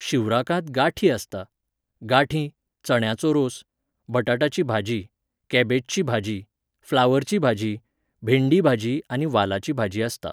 शिवराकांत गांठी आसता. गांठी, चण्याचो रोस, बटाटाची भाजी, केबेजची भाजी, फ्लावरची भाजी, भेंडी भाजी आनी वालाची भाजी आसता